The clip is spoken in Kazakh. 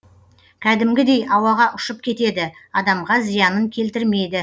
кәдімгідей ауаға ұшып кетеді адамға зиянын келтірмейді